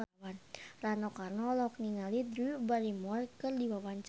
Rano Karno olohok ningali Drew Barrymore keur diwawancara